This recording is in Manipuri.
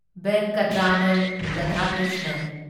ꯚꯦꯟꯀꯇ꯭ꯔꯃꯟ ꯔꯥꯙꯥꯀ꯭ꯔꯤꯁꯅꯟ